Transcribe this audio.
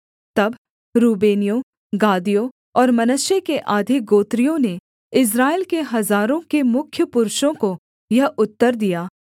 तब रूबेनियों गादियों और मनश्शे के आधे गोत्रियों ने इस्राएल के हजारों के मुख्य पुरुषों को यह उत्तर दिया